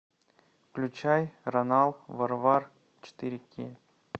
включай ронал варвар четыре кей